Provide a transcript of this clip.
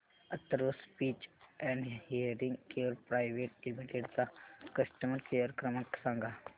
Atharva speech and hearing care private limited चा customer care क्रमांक सांगा